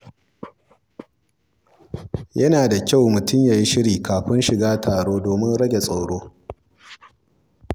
Yana da kyau mutum ya yi shiri kafin shiga taro domin rage tsoro.